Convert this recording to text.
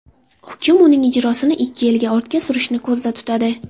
Hukm uning ijrosini ikki yilga ortga surishni ko‘zda tutadi.